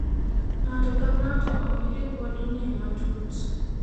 ng'ata ka ng'ato ong'i ripodni matut